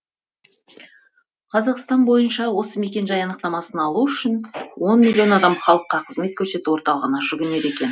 қазақстан бойынша осы мекенжай анықтамасын алу үшін он миллион адам халыққа қызмет көрсету орталығына жүгінеді екен